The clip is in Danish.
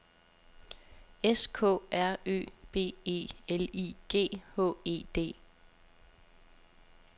S K R Ø B E L I G H E D